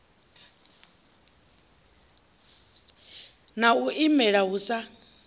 na u imela hu sa